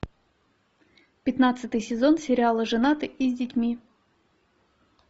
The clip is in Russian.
пятнадцатый сезон сериала женаты и с детьми